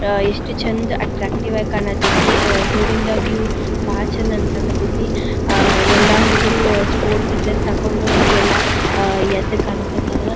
ಅಹ್ ಎಷ್ಟು ಚಂದ ಅಟ್ಟ್ರಾಕ್ಟಿವ್ ಕಾಣ್ ಕತ್ತತಿ ಅಹ್ ದೂರಿಂದ ವ್ಯೂ ಬಾಳ್ ಚಂದ್ ಅನ್ನಸಕತೈತಿ ಅಹ್ ಎಲ್ಲಾ ಹುಡುಗ್ರು ಸ್ಪೋರ್ಟ್ಸ್ ಡ್ರೆಸ್ ಹಾಕೊಂಡು ಅಲ್ಲೆಲ್ಲಾ ಅಹ್ ಎದ್ದ್ ಕಾಣ್ ಕತ್ತರ್.